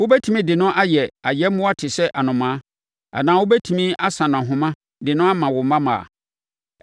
Wobɛtumi de no ayɛ ayɛmmoa te sɛ anomaa anaa wobɛtumi asa no ahoma de no ama wo mmammaa?